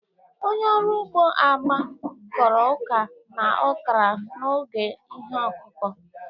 Onye ọrụ ugbo Agbe Kọrọ ọka na okra n'oge ihe ọkụkụ.